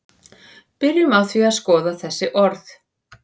byrjum á því að skoða þessi orð